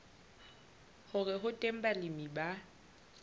hore ho teng balemi ba